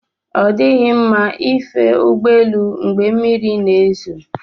Ọ dịghị mma ife ụgbọ elu mgbe mmiri na-ezo